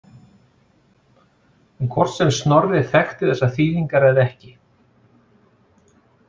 En hvort sem Snorri þekkti þessar þýðingar eða ekki.